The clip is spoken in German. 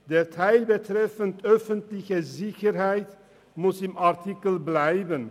Der Teil betreffend die öffentliche Sicherheit muss im Artikel bleiben.